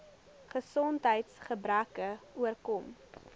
gesondheids gebreke oorkom